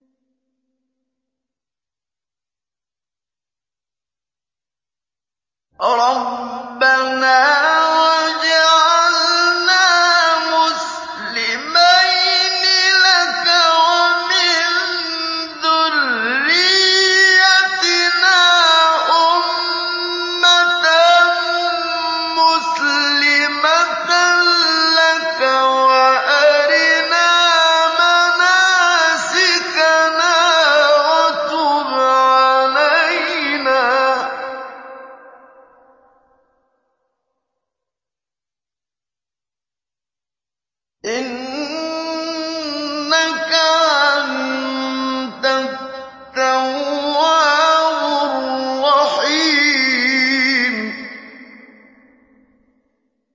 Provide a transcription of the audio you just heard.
رَبَّنَا وَاجْعَلْنَا مُسْلِمَيْنِ لَكَ وَمِن ذُرِّيَّتِنَا أُمَّةً مُّسْلِمَةً لَّكَ وَأَرِنَا مَنَاسِكَنَا وَتُبْ عَلَيْنَا ۖ إِنَّكَ أَنتَ التَّوَّابُ الرَّحِيمُ